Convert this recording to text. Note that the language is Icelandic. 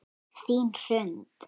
Þín Hrund.